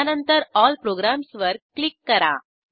यानंतर ऑल प्रोग्राम्सवर क्लिक करा